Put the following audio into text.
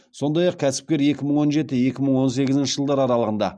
сондай ақ кәсіпкер екі мың он жеті екі мың он сегізінші жылдар аралығында